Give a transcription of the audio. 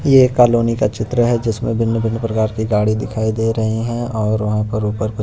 ये कॉलोनी का चित्र है जिसमें भिन्न-भिन्न प्रकार की गाड़ी दिखाई दे रही हैं और वहां पर ऊपर कु --